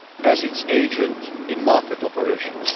as its agent in market operations.